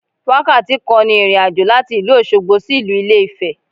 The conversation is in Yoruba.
Wákàtí kan ni ìrìnàjò láti ìlú Òsogbo sí ìlú Ilé Ifè